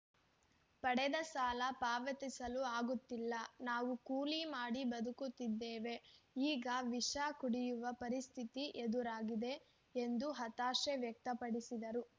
ಪಡೆದ ಸಾಲ ಪಾವತಿಸಲು ಆಗುತ್ತಿಲ್ಲ ನಾವು ಕೂಲಿ ಮಾಡಿ ಬದುಕುತ್ತಿದ್ದೇವೆ ಈಗ ವಿಷ ಕುಡಿಯುವ ಪರಿಸ್ಥಿತಿ ಎದುರಾಗಿದೆ ಎಂದು ಹತಾಶೆ ವ್ಯಕ್ತಪಡಿಸಿದರು